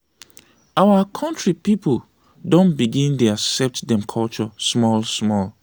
our country people don begin dey accept them culture small small.